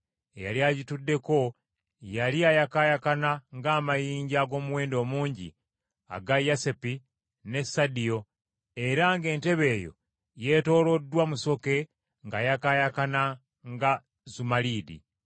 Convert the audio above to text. Eyali agituddeko yali ayakaayakana ng’amayinja ag’omuwendo omungi aga yasepi ne sadio; era ng’entebe eyo yeetooloddwa musoke ng’ayakaayakana nga zumaliidi.